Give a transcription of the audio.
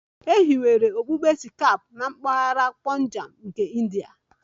E hiwere okpukpe Sikh na mpaghara Punjab nke India